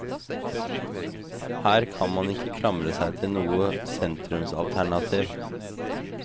Her kan man ikke klamre seg til noe sentrumsalternativ.